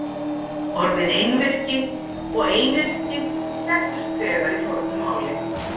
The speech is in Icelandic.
Orðin einvirki og einyrki þekktust þegar í fornu máli.